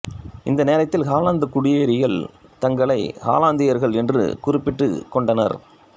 இந்த நேரத்தில் ஹாலந்து குடியேறிகள் தங்களை ஹாலந்தியர்கள் என்று குறிப்பிட்டுக்கொண்டனர்